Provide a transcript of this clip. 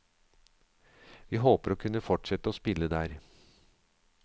Vi håper å kunne fortsette å spille der.